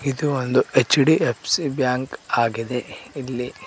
ಇದು ಒಂದು H D F C bank ಆಗಿದೆ ಇಲ್ಲಿ --